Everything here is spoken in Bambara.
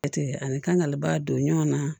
Jate ani kangali ba don ɲɔgɔn na